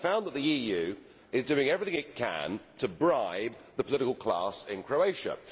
Well I found that the EU is doing everything it can to bribe the political class in Croatia.